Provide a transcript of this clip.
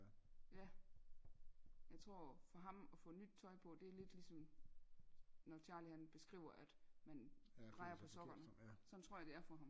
Ja jeg tror for ham og få nyt tøj på det er lidt ligesom når Charlie han beskriver at man drejer på sokkerne sådan tror jeg det er for ham